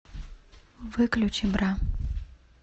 выключи бра